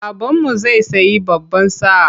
Babanmu zai sayi baban sa.